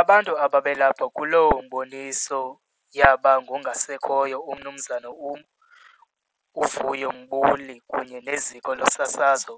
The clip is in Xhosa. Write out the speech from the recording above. Abantu ababelapho kuloo mboniso yaba ngongasekhoyo uMnumzana uVuyo Mbuli kunye neziko losasazo